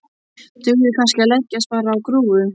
Dugði kannski að leggjast bara á grúfu?